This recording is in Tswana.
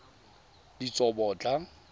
ditsobotla